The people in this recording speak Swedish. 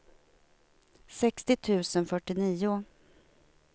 sextio tusen fyrtionio